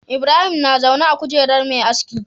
Ibrahim na zaune a kujerar Me aski